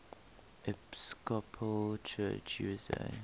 episcopal church usa